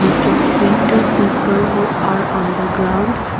we can see two people who are on the ground.